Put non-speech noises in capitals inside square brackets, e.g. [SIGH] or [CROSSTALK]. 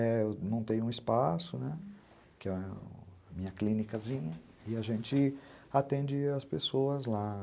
[UNINTELLIGIBLE] Eu montei um espaço, né, que é a minha clinicazinha, e a gente atende as pessoas lá.